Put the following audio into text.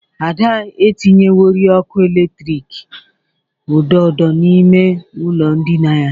Ada tinyerewori ọkụ eletiki odo odo n'ime ụlọ ndịna ya.